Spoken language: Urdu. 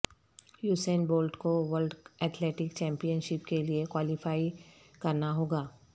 یوسین بولٹ کو ورلڈ اتھلیٹک چمپئن شپ کیلئے کوالیفائی کرنا ہوگا